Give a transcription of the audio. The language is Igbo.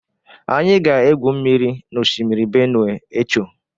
Anyị ga-egwu mmiri na Oshimiri Benue echo.